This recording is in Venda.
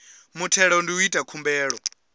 muthelo ndi u ita khumbelo